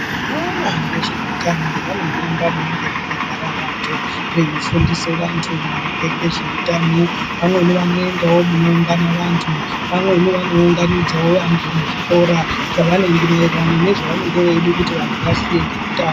Vanoona ngezveutano vano hamba munonga makagara vantu ,veifundise vantu maringe ngezveutano, pamweni vanoendawo munoungana vanhu pamweni vanounganidzawo vantu muzvikora maererano ngezvavanenge veide kuti vantu vaziye ngezveutano.